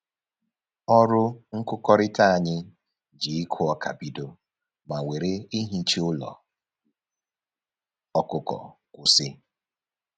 Ọrụ nkụkọrịta anyị ji ịkụ ọka bido ma were ihicha ụlọ ọkụkọ kwụsị